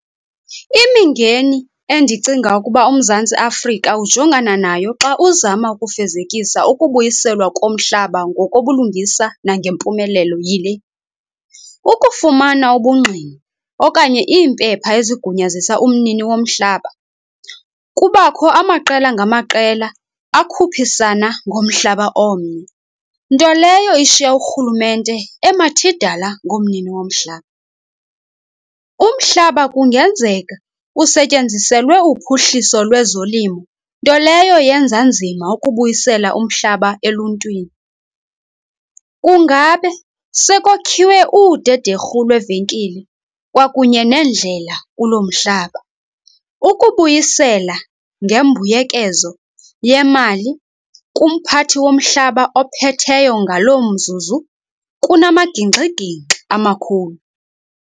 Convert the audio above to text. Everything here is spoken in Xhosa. Imingeni endicinga ukuba uMzantsi Afrika ujongana nayo xa uzama ukufezekisa ukubuyiselwa komhlaba ngokobulungisa nangempumelelo yile, ukufumana ubungqina okanye iimpepha ezigunyazisa umnini womhlaba. Kubakho amaqela ngamaqela akhuphisana ngomhlaba omnye, nto leyo ishiya urhulumente emathidala ngomnini womhlaba. Umhlaba kungenzeka usetyenziselwe uphuhliso lwezolimo, nto leyo yenza nzima ukubuyisela umhlaba eluntwini. Kungabe sekwakhiwe udederhu lwevenkile kwakunye neendlela kuloo mhlaba. Ukubuyisela ngembuyekezo yemali kumphathi womhlaba ophetheyo ngaloo mzuzu kunamagingxigingxi amakhulu.